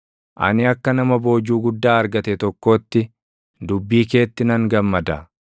Ani akka nama boojuu guddaa argate tokkootti, dubbii keetti nan gammada.